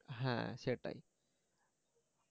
হ্যা সেটাই